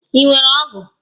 Ị nwere ọgụ?